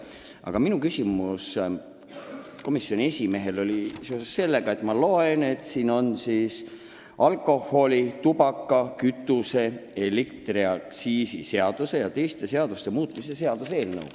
Aga minu küsimus komisjoni esimehele oli seotud sellega, et meil on käsil alkoholi-, tubaka-, kütuse- ja elektriaktsiisi seaduse ning teiste seaduste muutmise seaduse eelnõu.